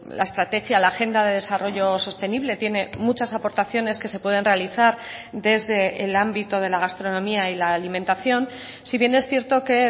la estrategia la agenda de desarrollos sostenible tiene muchas aportaciones que se pueden realizar desde el ámbito de la gastronomía y la alimentación si bien es cierto que